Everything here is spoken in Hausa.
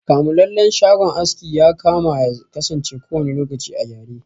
Kamulallen shagon aski yakama yakasance kowanne lokaci a gyare.